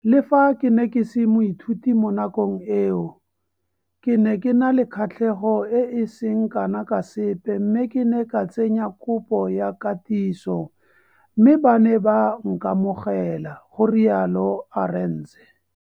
Le fa ke ne ke se moithuti mo nakong eo, ke ne ke na le kgatlhego e e seng kana ka sepe mme ke ne ka tsenya kopo ya katiso, mme ba ne ba nkamogela, ga rialo Arendse.